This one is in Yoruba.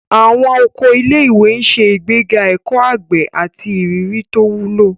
Àwọn oko ilé-ìwé ń ṣe ìgbéga ẹ̀kọ́ àgbẹ̀ àti ìrírí tó wúlò.